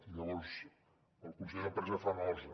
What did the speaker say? i llavors el conseller d’empresa fa nosa